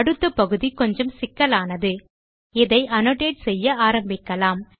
அடுத்த பகுதி கொஞ்சம் சிக்கலானது இதை அன்னோடேட் செய்ய ஆரம்பிக்கலாம்